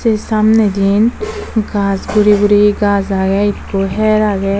sey samnedi gas guri guri gas agey ekkho hyer agey.